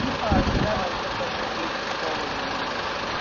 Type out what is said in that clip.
типа здоровью заботятся